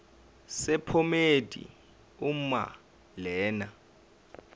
sephomedi uma lena